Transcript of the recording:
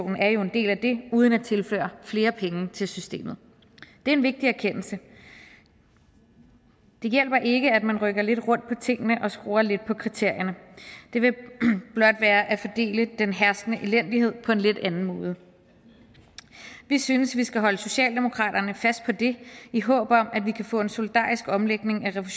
er jo en del af det uden at tilføre flere penge til systemet det er en vigtig erkendelse det hjælper ikke at man rykker lidt rundt på tingene og skruer lidt på kriterierne det vil blot være at fordele den herskende elendighed på en lidt anden måde vi synes at vi skal holde socialdemokratiet fast på det i håb om at vi kan få en solidarisk omlægning af